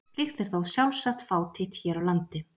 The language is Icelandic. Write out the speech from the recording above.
Slíkt er þó sjálfsagt fátítt hér á landi.